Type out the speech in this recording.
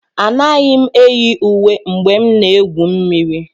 Anaghị m eyi uwe mgbe m na-egwu mmiri